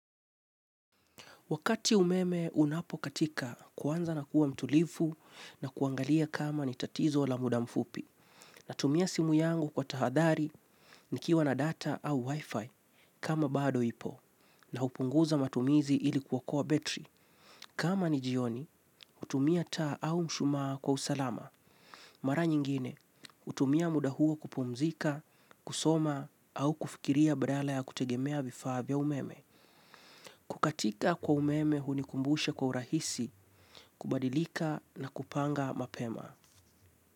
Wakati umeme unapokatika, kwanza na kuwa mtulivu na kuangalia kama ni tatizo la muda mfupi. Natumia simu yangu kwa tahadhari, nikiwa na data au wifi kama bado ipo. Na hupunguza matumizi ili kuokoa battery. Kama ni jioni, hutumia taa au mshumaa kwa usalama. Mara nyingine, hutumia muda huo kupumzika, kusoma, au kufikiria badala ya kutegemea vifaa vya umeme. Kukatika kwa umeme hunikumbusha kwa urahisi, kubadilika na kupanga mapema.